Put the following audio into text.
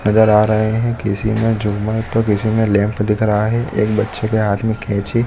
नज़र आ रहै है किसी ने झूमर तो किसी मे लैंप दिख रहा है एक बच्चे के हाथ मे कैची --